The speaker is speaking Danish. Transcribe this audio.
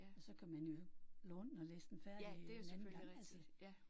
Og så kan man jo låne den og læse den færdig en anden gang altså